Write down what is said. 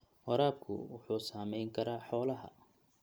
Waraabku wuxuu saameyn karaa xoolaha.